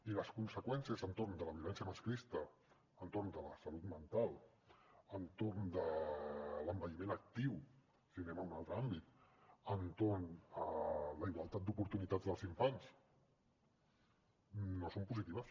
i les conseqüències entorn de la violència masclista entorn de la salut mental entorn de l’envelliment actiu si anem a un altre àmbit entorn de la igualtat d’oportunitats dels infants no són positives